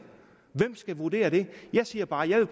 hvem skal vurdere det jeg siger bare at jeg